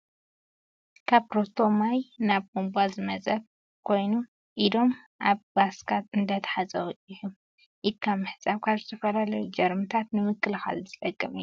ካብ ሮቶ ማይ ናብ ቡንባ ዝመፀ ኮይኑ ኢዶም ኣብ ባስካ እንዳተሓፀቡ እዮም። ኢድካ ምሕፃብ ካብ ዝተፈላለዩ ጀርሚታት ንምክልካል ዝጠቅም እዩ።